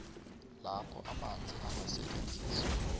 lapho amanzi angasetjenziswa